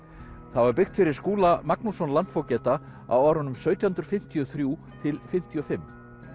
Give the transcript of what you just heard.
það var byggt fyrir Skúla Magnússon landfógeta á árunum sautján hundruð fimmtíu og þrjú til fimmtíu og fimm